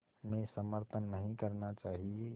में समर्थन नहीं करना चाहिए